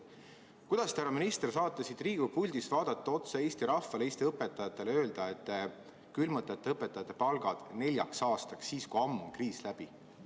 Kuidas te, härra minister, saate siit Riigikogu puldist vaadata otsa Eesti rahvale, Eesti õpetajatele ja öelda, et te külmutate õpetajate palgad neljaks aastaks – siis, kui kriis on ammu läbi?